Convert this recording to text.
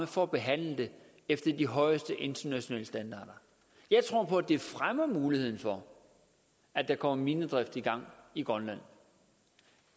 for at behandle det efter de højeste internationale standarder jeg tror på at det fremmer muligheden for at der kommer minedrift i gang i grønland